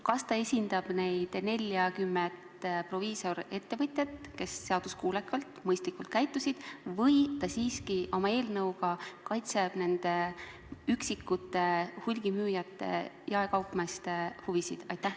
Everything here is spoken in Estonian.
Kas ta esindab neid 40 proviisorist ettevõtjat, kes seaduskuulekalt ja mõistlikult on käitunud, või ta siiski oma eelnõuga kaitseb üksikute hulgimüüjate ja jaekaupmeeste huvisid?